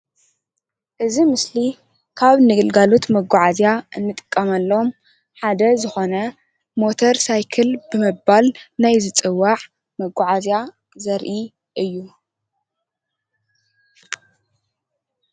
እዚ ምስሊ ካብ ንግልጋሎት መጓዓዝያ እንጥቀመሎም ሓደ ዝኾነ ሞተር ሳይክል ብምባል ናይ ዝፅዋዕ መጓዓዝያ ዘርኢ እዩ ::